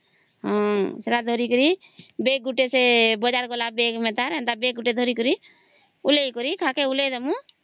ହଁ ସେଟା ଧରି କରି ସେ ବଜ଼ାର ଗଲା ବେଗ ମେଣ୍ଟା ସେମିତି ଗୋଟେ ଧରିକରି ଖାଙ୍କେ ଉଲେହେଇ ଦବୁ